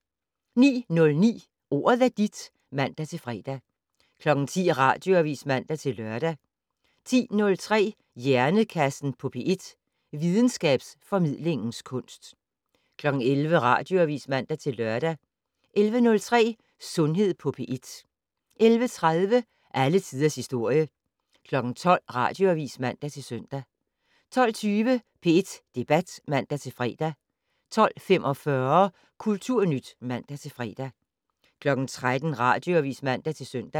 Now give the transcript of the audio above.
09:09: Ordet er dit (man-fre) 10:00: Radioavis (man-lør) 10:03: Hjernekassen på P1: Videnskabsformidlingens kunst 11:00: Radioavis (man-lør) 11:03: Sundhed på P1 11:30: Alle tiders historie 12:00: Radioavis (man-søn) 12:20: P1 Debat (man-fre) 12:45: Kulturnyt (man-fre) 13:00: Radioavis (man-søn)